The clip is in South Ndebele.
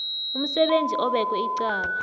umsebenzi obekwe icala